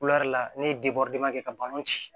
ne ye kɛ ka balon ci